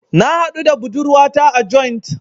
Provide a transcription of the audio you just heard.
Na haɗu da budurwata a joint.